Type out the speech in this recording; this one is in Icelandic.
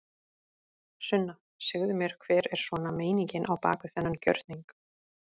Sunna: Segðu mér hver er svona meiningin á bak við þennan gjörning?